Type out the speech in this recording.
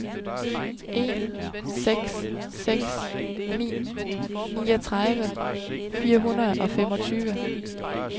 en seks seks ni niogtredive fire hundrede og femogtyve